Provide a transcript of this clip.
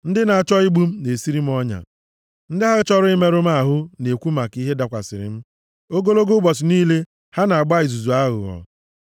Ndị na-achọ igbu m na-esiri m ọnya, ndị ahụ chọrọ imerụ m ahụ na-ekwu maka ihe dakwasịrị m; ogologo ụbọchị niile ha na-agba izuzu aghụghọ.